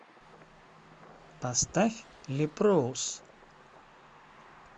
поставь лепроус